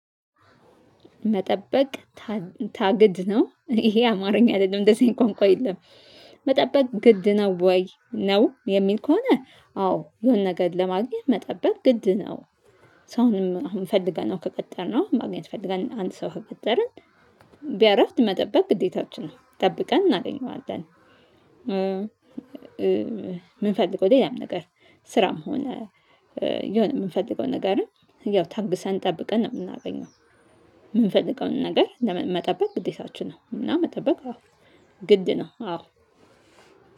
መጠበቅ ታግድ ነው ይሄ አማርኛ አይደለም እንደዚህ ቋንቋ የለም። መጠበቅ ግድ ነው ወይ ነው የሚል ከሆነ አዎ የሆነ ነገር ለማግኘት መጠበቅ ግድ ነው። ሰውንም አሁን ፈልገነው ከቀጠርነው ማግኘት ፈልገን አንድ ሰው ከቀጠርን ቢያረፍድ መጠበቅ ግዴታችን ነው ጠብቀን እናገኘዋለን። ምንፈልገው ሌላም ነገር ስራም ሆነ የሆነ የምንፈልገው ነገርም ያው ታግሰን ጠብቀን ነው የምናገኘው። የምንፈልገውን ነገር መጠበቅ ግዴታችን ነው እና መጠበቅ አዎ ግድ ነው አዎ።